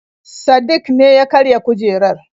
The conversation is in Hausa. Sadik ne ya karya kujerar.